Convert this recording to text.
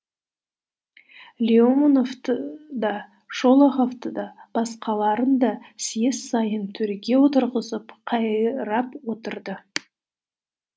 леоновты да шолоховты да басқаларын да съезд сайын төрге отырғызып қайрап отырды